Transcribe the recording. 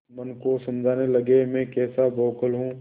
मन को समझाने लगेमैं कैसा बौखल हूँ